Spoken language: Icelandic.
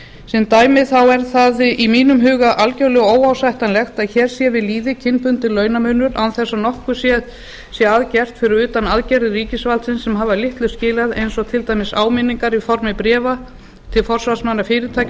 sem dæmi er það í mínum huga algjörlega óásættanlegt að hér sé við lýði kynbundinn launamunur án þess að nokkuð sé að gert fyrir utan aðgerðir ríkisvaldsins sem hafa litlu skilað eins og til dæmis áminningar í formi bréfa til forsvarsmanna fyrirtækja og